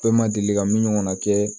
Bɛɛ ma deli ka min ɲɔgɔnna kɛ